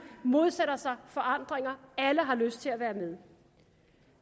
modsætter sig forandringer alle har lyst til at være med